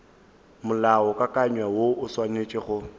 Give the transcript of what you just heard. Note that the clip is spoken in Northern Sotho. molaokakanywa woo o swanetše go